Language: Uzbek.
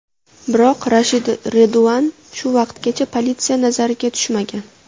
Biroq Rashid Reduan shu vaqtgacha politsiya nazariga tushmagan.